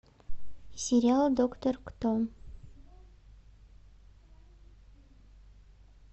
сериал доктор кто